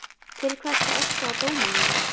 Til hvers að öskra á dómarann?